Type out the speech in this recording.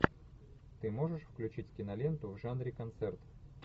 ты можешь включить киноленту в жанре концерт